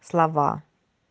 слова